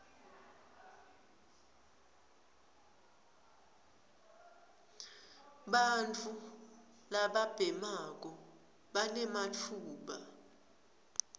bantfu lababhemako banematfuba